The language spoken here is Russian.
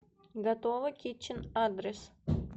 готово китчен адрес